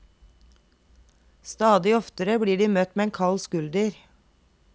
Stadig oftere blir de møtt med en kald skulder.